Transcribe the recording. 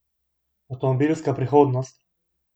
Avtomobilska prihodnost?